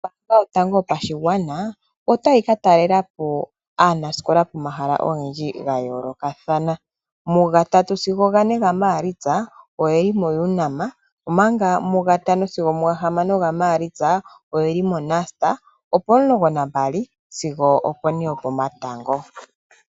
Ombanga yotango yopashigwana otayi katalelapo aanasikola pomahala ogendji gayoolokathana mugatatu sigo gane gaMaalitsa oyeli moUnam omanga mugatano sigo gahamano gaMaalitsa oyeli moNust opomulongo nambali sigo opone hokomatango.